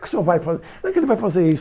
Como é que o senhor vai fazer isso?